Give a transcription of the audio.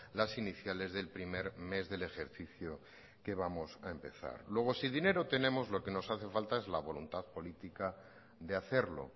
las iniciales del primer mes del ejercicio que vamos a empezar luego si dinero tenemos lo que nos hace falta es la voluntad política de hacerlo